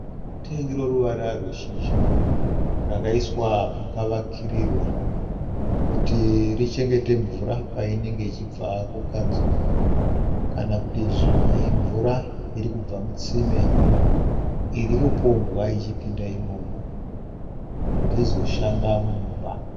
Tengi roruvara rweshizha, rakaiswa pakavakirirwa kuti richengete mvura painenge ichibva kukanzuru, kana kuti zvimwe imvura iri kubva mutsime iri kupombwa ichipinda imomo kuti izoshanda mumba.